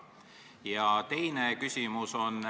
Ja teine küsimus.